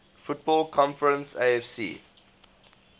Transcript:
football conference afc